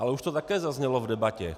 Ale už to také zaznělo v debatě.